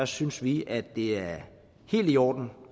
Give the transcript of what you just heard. synes vi at det er helt i orden